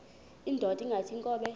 indod ingaty iinkobe